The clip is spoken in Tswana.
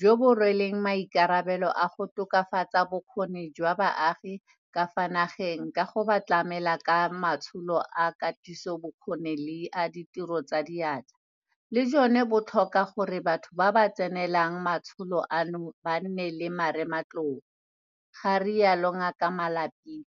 jo bo rweleng maikarabelo a go tokafatsa bokgoni jwa baagi ka fa nageng ka go ba tlamela ka matsholo a katisobokgoni le a ditiro tsa diatla, le jone bo tlhoka gore batho ba ba tsenelang matsholo ano ba nne le marematlou, ga rialo Ngaka Malapile.